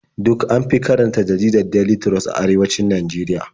Duk an fi karanta jaridar Daily Trust a arewacin Najeriya.